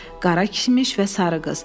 Qara kişmiş və sarı qız.